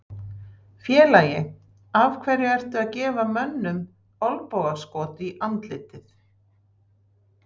Félagi, af hverju ertu að gefa mönnum olnbogaskot í andlitið?